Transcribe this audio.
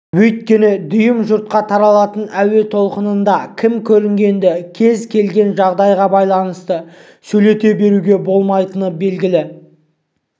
өйткені дүйім жұртқа таралатын әуе толқынында кім көрінгенді кез келген жағдайға байланысты сөйлете беруге болмайтыны белгілі